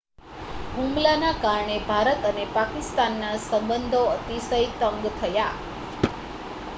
હુમલાના કારણે ભારત અને પાકિસ્તાનના સંબંધો અતિશય તંગ થયા